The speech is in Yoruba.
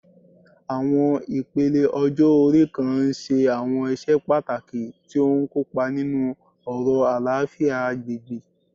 Àwọn ipele ọjọ́-ori kan ń ṣe àwọn iṣẹ́ pàtàkì tí ó ń kópa nínú ọ̀rọ̀ àlàáfíà agbègbè